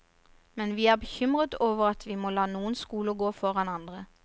Men vi er bekymret over at vi må la noen skoler gå foran andre.